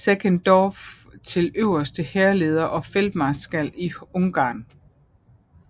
Seckendorff til øverste hærleder og feltmarskal i Ungarn